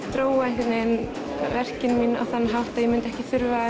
þróa einhvern veginn verkin mín á þann hátt að ég myndi ekki þurfa að